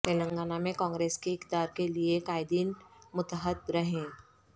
تلنگانہ میں کانگریس کے اقتدار کے لیے قائدین متحد رہیں